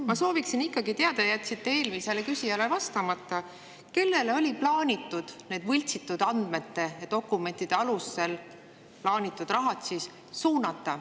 Ma sooviksin ikkagi teada, te jätsite eelmisele küsijale vastamata, kellele oli kavas need võltsitud andmete ja dokumentide alusel plaanitud rahad suunata.